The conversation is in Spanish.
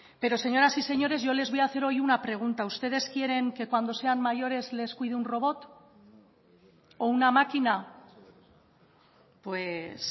pero señoras y señores yo les voy a hacer hoy una pregunta ustedes quieren que cuando sean mayores les cuide un robot o una máquina pues